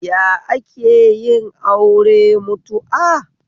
Ya akeyin aure mutu'a?